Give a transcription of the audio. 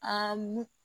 Aa mugu